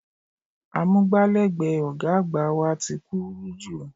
Amúgbálẹ́gbẹ̀ẹ́ ọ̀gá àgbà wa ti kúrú jù